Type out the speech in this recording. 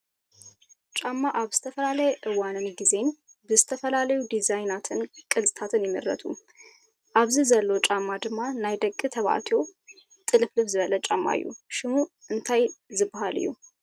ጫማ ኣብ ዝተፈላለየ እዋንን ጊዜን ብዝተፈላለዩ ዲዛይናትን ቅርፅን ይምረቱ፡፡ ኣብዚ ዘሎ ጫማ ድማ ናይ ደቂ ተባትዮ ጥልፍልፍ ዝበለ ጫማ እዩ፡፡ ሽሙ እንታይ ዝባሃል እዩ?